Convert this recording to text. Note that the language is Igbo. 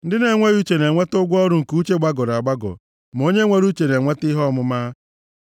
Ndị na-enweghị uche na-enweta ụgwọ ọrụ nke uche gbagọrọ agbagọ, ma onye nwere uche na-enweta ihe ọmụma.